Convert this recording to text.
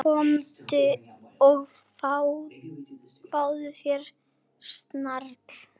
Komdu og fáðu þér snarl.